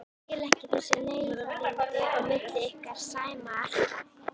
Skil ekki þessi leiðindi á milli ykkar Sæma alltaf.